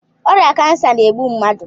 Ọrịa kansa na-egbu mmadụ.